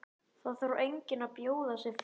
Það þarf enginn að bjóða sig fram.